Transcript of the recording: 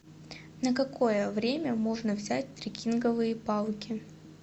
на какое время можно взять трекинговые палки